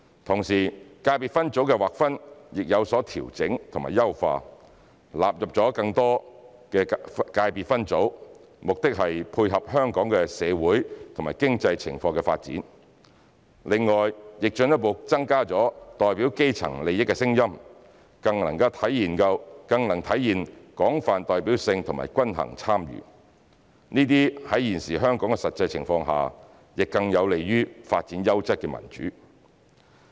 同時，界別分組的劃分亦有所調整和優化，納入了更多的界別分組，目的是配合香港的社會和經濟情況的發展，另外亦進一步增加了代表基層利益的聲音，更能體現廣泛代表性和均衡參與，這些在現時香港實際情況下，更有利於發展優質的民主。